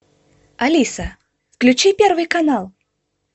алиса включи первый канал